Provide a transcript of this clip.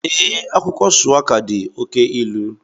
Ee, akwụkwọ shuwaka dị oke ilu